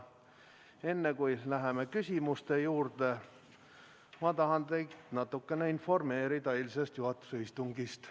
Enne kui läheme küsimuste juurde, ma tahan teid natuke informeerida eilsest juhatuse istungist.